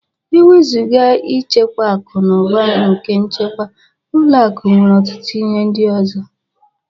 Ewezuga ịchekwa akụ na ụba na nchekwa, ụlọ akụ nwere ọtụtụ ihe ndị ọzọ